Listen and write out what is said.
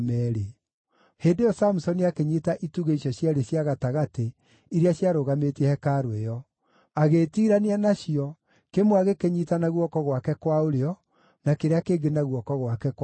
Hĩndĩ ĩyo Samusoni akĩnyiita itugĩ icio cierĩ cia gatagatĩ iria ciarũgamĩtie hekarũ ĩyo. Agĩĩtiirania nacio, kĩmwe agĩkĩnyiita na guoko gwake kwa ũrĩo na kĩrĩa kĩngĩ na guoko gwake kwa ũmotho,